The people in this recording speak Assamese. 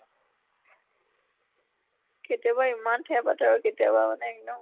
কেতিয়াবা ইমান ঠেহ পাতে আৰু কেতিয়াবা মানে এক্দম